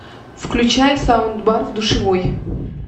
включай саундбар в душевой